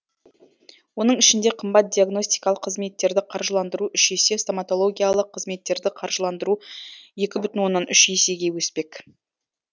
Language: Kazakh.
оның ішінде қымбат диагностикалық қызметтерді қаржыландыру үш есе стоматологиялық қызметтерді қаржыландыру екі бүтін оннан үш есеге өспек